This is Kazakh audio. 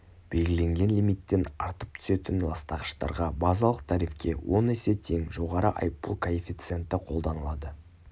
белгіленген лимиттен артып түсетін ластағыштарға базалық тарифке он есе тең жоғары айыппұл коэфициенті қолданылады